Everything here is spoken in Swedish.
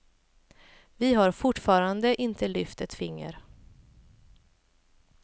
Vi har fortfarande inte lyft ett finger.